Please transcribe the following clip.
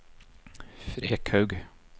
Frekhaug